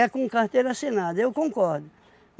É com carteira assinada, eu concordo.